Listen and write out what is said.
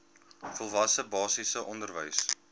volwasse basiese onderwys